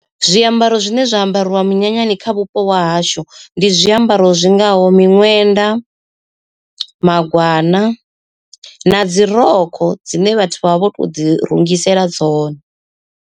Zwiambaro zwine zwa ambariwa munyanyani kha vhupo ha hashu ndi zwiambaro zwingaho miṅwenda, magwana na dzi rokho dzine vhathu vha vha vho to ḓi rungisela dzone.